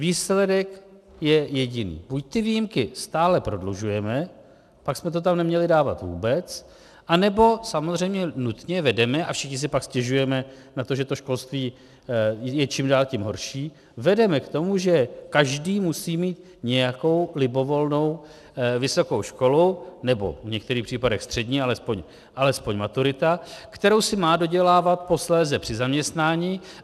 Výsledek je jediný: Buď ty výjimky stále prodlužujeme, pak jsme to tam neměli dávat vůbec, anebo samozřejmě nutně vedeme, a všichni si pak stěžujeme na to, že to školství je čím dál tím horší, vedeme k tomu, že každý musí mít nějakou libovolnou vysokou školu, nebo v některých případech střední, alespoň maturita, kterou si má dodělávat posléze při zaměstnání.